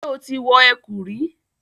Ṣé o ti wọ ẹ̀kú rí?